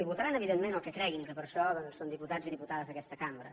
i votaran evidentment el que creguin que per això són diputats i diputades d’aquesta cambra